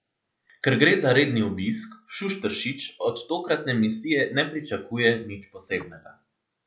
Ker gre za redni obisk, Šušteršič od tokratne misije ne pričakuje nič posebnega.